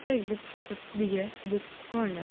आपका एक book shop है विजय बुक कॉर्नर।